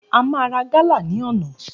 A máa ra gálà ní ọ̀nà